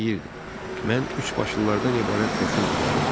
O deyirdi: Mən üç başlılardan ibarət qoşun düzəldəcəm.